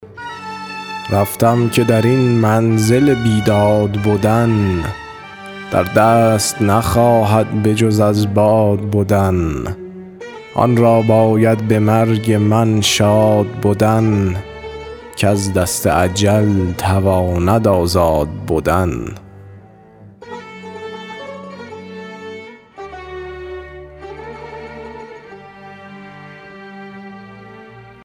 رفتم که در این منزل بیداد بدن در دست نخواهد بجز از باد بدن آن را باید به مرگ من شاد بدن کز دست اجل تواند آزاد بدن